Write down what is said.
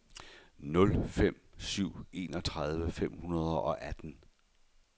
nul fem nul syv enogtredive fem hundrede og atten